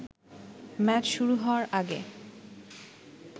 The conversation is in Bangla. ম্যাচ শুরু হওয়ার আগে